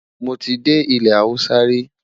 mọ tí dé ilé Hausa ri